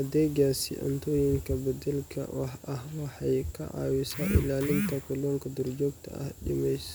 adegasi cuntoyinka badalka ah waxee ka cawisa ilalinta kalunka dur jogta ah.